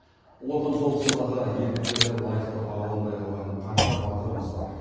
ұлы отан соғысындағы ерліктері лайықты бағаланбай қалған қанша батырымыз бар